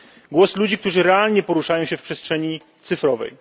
Głos ludzi, którzy realnie poruszają się w przestrzeni cyfrowej.